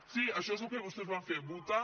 sí això és el que vostès van fer votar